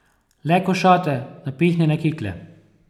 Le košate, napihnjene kikle.